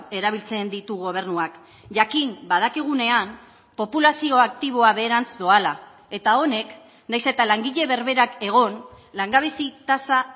erabiltzen ditu gobernuak jakin badakigunean populazio aktiboa beherantz doala eta honek nahiz eta langile berberak egon langabezi tasa